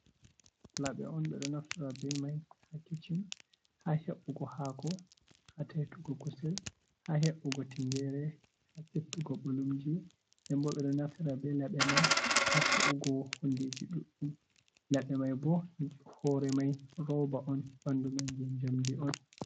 Laɓe on ɓe ɗo naftira be mai ha kiccin ha he'ugo haako, ha taitugo kusel, ha he’ugo tingere, ha settugo ɓolumji, nden bo ɓe ɗo naftira be laɓe mai ha ta’ugo hundeji ɗuɗɗum, laɓe mai bo hore mai roba on ɓandu man je jamdi on.